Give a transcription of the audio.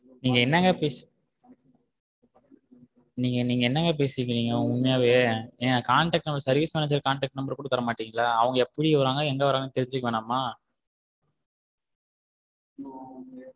நீங்க என்னாங்க பேசிட்டு இருக்கீங்க உண்மையாவே ஏங்க contect number service manager contect number கூட தர மாட்டீங்களா அவுங்க எப்படி வராங்க எங்க வராங்கனு தெரிஞ்ச்சிக்க வேணாம்மா?